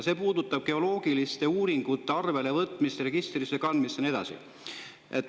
See puudutab geoloogiliste uuringute arvelevõtmist, registrisse kandmist ja nii edasi.